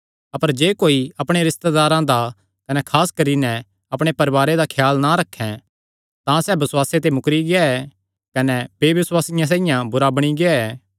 अपर जे कोई अपणे रिस्तेदारां दा कने खास करी नैं अपणे परवारे दा ख्याल ना रखे तां सैह़ बसुआसे ते मुकरी गेआ ऐ कने बेबसुआसिये ते भी बुरा बणी गेआ ऐ